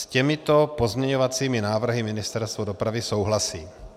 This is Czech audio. S těmito pozměňovacími návrhy Ministerstvo dopravy souhlasí.